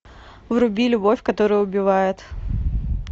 вруби любовь которая убивает